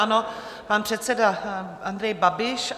Ano, pan předseda Andrej Babiš.